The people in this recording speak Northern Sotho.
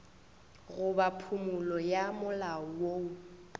goba phumolo ya molao woo